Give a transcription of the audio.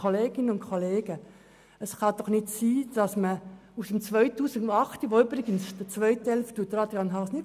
Zum Entscheid von 2008: Den zweiten Teil der Debatte erzählt Grossrat Haas nicht.